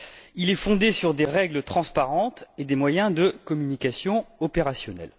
Il est fondé sur des règles transparentes et des moyens de communication opérationnels.